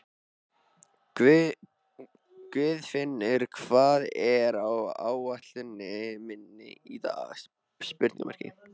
Guðfinnur, hvað er á áætluninni minni í dag?